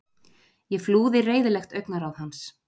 Ég flúði reiðilegt augnaráð hans.